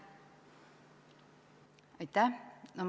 Aitäh!